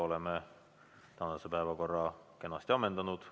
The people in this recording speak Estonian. Oleme tänase päevakorra kenasti ammendanud.